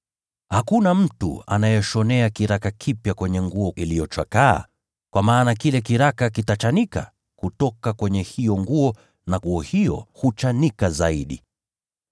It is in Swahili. “Hakuna mtu anayeshonea kiraka kipya kwenye nguo iliyochakaa, kwa maana kile kiraka kitachanika kutoka kwenye hiyo nguo, nayo hiyo nguo itachanika zaidi.